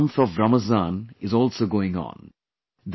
The holy month of Ramzan is also going on